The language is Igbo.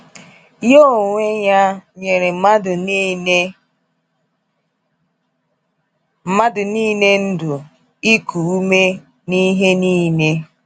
Nya oweeya nyeere mmadụ niile mmadụ niile ndụ, iku ume, na ihe niile.”